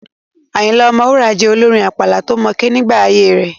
Ayinla Omowura jẹ́ olórin àpàlà tó mókè nígbà ayée rẹ̀.